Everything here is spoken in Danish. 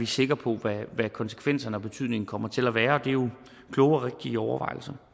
sikre på hvad konsekvenserne og betydningen kommer til at være det er jo kloge og rigtige overvejelser